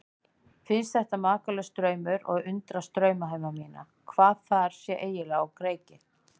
Finnst þetta makalaus draumur og undrast draumheima mína, hvað þar sé eiginlega á kreiki.